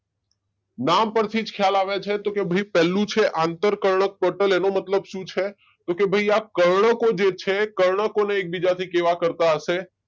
નામ પરથી જ ખયાલ આવે છે કે તો પેહલું છે આંતરકર્ણકપટલ એનું મતલબ શું છે કે ભાઈ આ કર્ણકો જે છે કર્ણકો ને એકબીજાથી કેવા કરતા હશે?